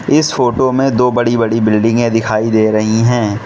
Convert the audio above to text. इस फोटो में दो बड़ी बड़ी बिल्डिंगे दिखाई दे रही हैं।